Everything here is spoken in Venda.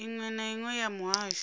iṅwe na iṅwe ya muhasho